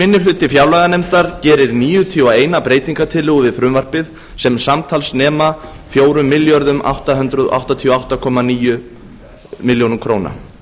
minni hluti fjárlaganefndar gerir níutíu og eina breytingartillögu við frumvarpið sem samtals nema fjögur þúsund átta hundruð áttatíu og átta komma níu milljónir króna